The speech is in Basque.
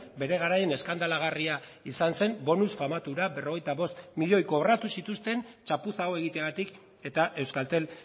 bere garaian eskandalagarria izan zen bonus famatu hura berrogeita bost miloi kobratu zituzten txapuza hau egiteagatik eta euskaltel